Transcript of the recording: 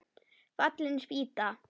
Fallin spýta!